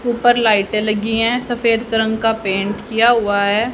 उपर लाइटें लगी हैं सफेद क रंग का पेंट किया हुआ है।